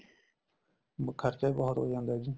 ਖਰਚਾ ਵੀ ਬਹੁਤ ਹੋ ਜਾਂਦਾ ਏ ਜੀ